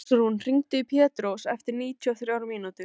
Ásrún, hringdu í Pétrós eftir níutíu og þrjár mínútur.